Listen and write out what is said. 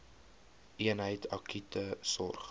eenheid akute sorg